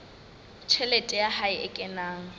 tjhelete ya hae e kenang